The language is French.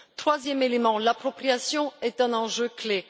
Troisième élément, l'appropriation est un enjeu clé.